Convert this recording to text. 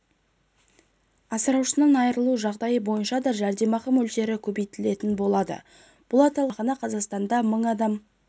асыраушысынан айырылу жағдайы бойынша да жәрдемақы мөлшері көбейтілетін болады бұл аталған жәрдемақыны қазақстанда мың адам